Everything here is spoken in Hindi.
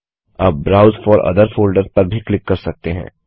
आप ब्राउज फोर ओथर फोल्डर्स पर भी क्लिक कर सकते हैं